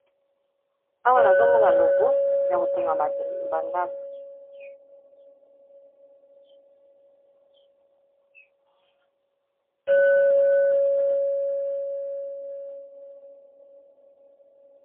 Awa nazomona logo ya kotonga bandako.